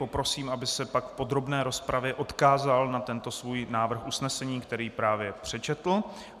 Poprosím, aby se pak v podrobné rozpravě odkázal na tento svůj návrh usnesení, který právě přečetl.